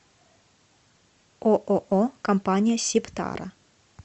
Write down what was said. ооо компания сибтара